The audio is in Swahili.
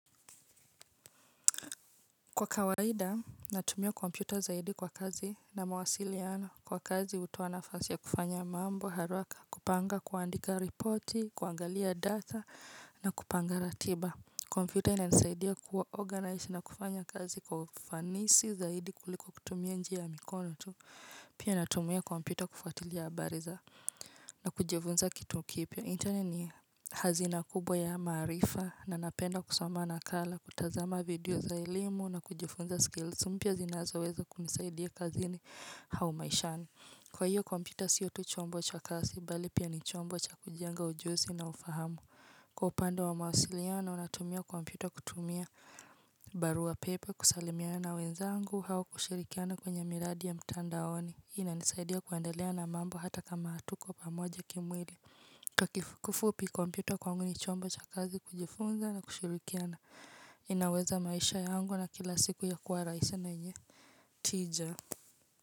Kwa kawaida, natumia kompyuta zaidi kwa kazi na mawasiliano kwa kazi hutoa nafasi ya kufanya mambo haraka, kupanga, kuandika ripoti, kuangalia data na kupanga ratiba. Kompyuta inanisaidia kuorganize na kufanya kazi kwa ufanisi zaidi kuliko kutumia njia ya mikono tu. Pia natumia kompyuta kufuatilia habari za na kujifunza kitu kipya. Internet ni hazina kubwa ya maarifa na napenda kusoma nakala, kutazama video za elimu na kujifunza skills mpya zinazoweza kunisaidia kazini au maishani. Kwa hiyo, kompyuta siyo tu chombo cha kazi, bali pia ni chombo cha kujenga ujuzi na ufahamu. Kwa upande wa mawasiliano, natumia kompyuta kutumia barua pepe, kusalimiana wenzangu, au kushirikiana kwenye miradi ya mtandaoni. Hii inanisaidia kuendelea na mambo hata kama hatuko pamoja kimwili. Kwa kifupi kompyuta kwangu ni chombo cha kazi kujifunza na kushirikiana inaweza maisha yangu ya kila siku ya kuwa rahisi na yenye tija.